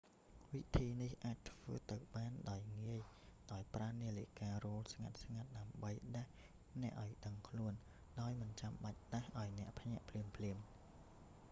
វិធីនេះអាចធ្វើទៅបានដោយងាយ ដោយប្រើនាឡិការោទ៍ស្ងាត់ៗ ដើម្បីដាស់អ្នកឱ្យដឹងខ្លួន ដោយមិនបាច់ដាស់ឱ្យអ្នកភ្ញាក់ភ្លាមៗ